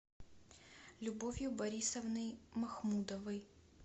любовью борисовной махмудовой